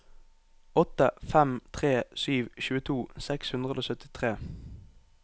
åtte fem tre sju tjueto seks hundre og syttitre